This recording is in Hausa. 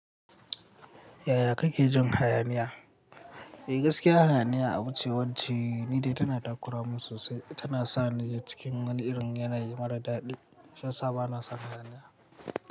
Yaya kake jin hayaniya? Eh gaskiya hayaniya abuce wacce, ni dai tana takura mun sosai. Tana sani cikin wani irin yanayi mara daɗi. Shi sa bana san hayaniya.